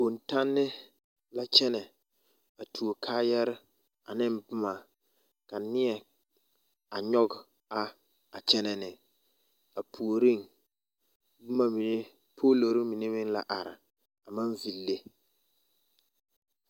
Bontanne la kyɛnɛ a tuo kaayare ane boma ka neɛ a nyɔge a kyɛnɛ ne a puoreŋ boma mine poolori mine meŋ la are a maŋ ville.